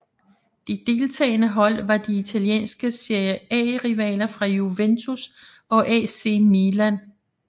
De deltagende hold var de italienske Serie A rivaler fra Juventus og AC Milan